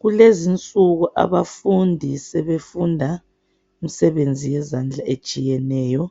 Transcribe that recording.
Kulezinsuku abafundi sebefunda imsebezi yezandla etshiyeneyo.